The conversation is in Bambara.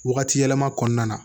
Wagati yɛlɛma kɔnɔna na